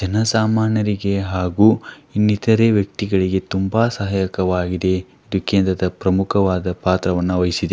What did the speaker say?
ಜನ ಸಾಮಾನ್ಯರಿಗೆ ಹಾಗು ಇನ್ನಿತರೆ ವ್ಯಕ್ತಿಗಳಿಗೆ ತುಂಬ ಸಹಾಯಕವಾಗಿದೆ ಇದಕ್ಕೆ ಪ್ರಮುಖವಾದಂತಹ ಪಾತ್ರವನ್ನು ವಹಿಸಿದೆ.